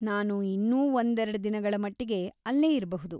ನಾನು ಇನ್ನೂ ಒಂದೆರಡ್ ದಿನಗಳ ಮಟ್ಟಿಗೆ ಅಲ್ಲೇ ಇರ್ಬಹುದು.